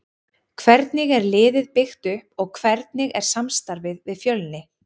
Hvernig er liðið byggt upp og hvernig er samstarfið við Fjölni?